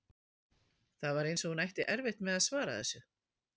Það var eins og hún ætti erfitt með að svara þessu.